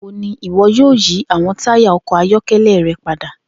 Nigbawo ni iwọ yoo yi awọn taya ọkọ ayọkẹlẹ rẹ pada?